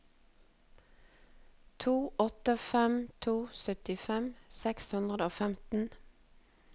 to åtte fem to syttifem seks hundre og femten